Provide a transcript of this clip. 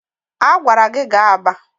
A gwara gi gaa Aba!